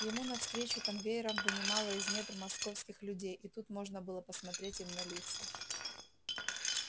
ему навстречу конвейером вынимало из недр московских людей и тут можно было посмотреть им на лица